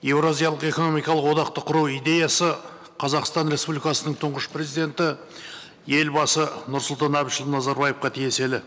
еуразиялық экономикалық одақты құру идеясы қазақстан республикасының тұнғыш президенті елбасы нұрсұлтан әбішұлы назарбаевқа тиесілі